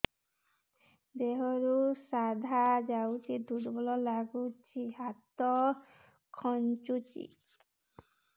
ଦେହରୁ ସାଧା ଯାଉଚି ଦୁର୍ବଳ ଲାଗୁଚି ଦେହ ହାତ ଖାନ୍ଚୁଚି